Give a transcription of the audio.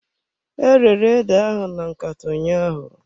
E rere ede ahụ na nkata ụnyaahụ.